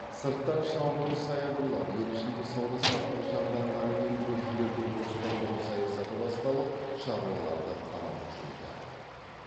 сырттан шабуыл саябырлап ел ішінде сауда саттық жанданғанымен гүржілерді орыстандыру саясаты басталып шаруаларды қанау күшейді